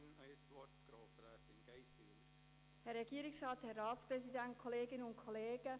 Ich gebe der Motionärin noch einmal das Wort: Grossrätin Geissbühler.